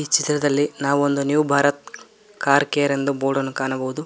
ಈ ಚಿತ್ರದಲ್ಲಿ ನಾವು ಒಂದು ನ್ಯೂ ಭಾರತ್ ಕಾರ್ ಕೇರ್ ಎಂದು ಬೋರ್ಡನ್ನು ಕಾಣಬಹುದು.